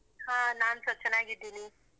ಹಾ, ನಾನ್ಸಾ ಚೆನ್ನಾಗಿದ್ದೀನಿ.